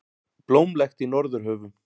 Blómlegt í Norðurhöfum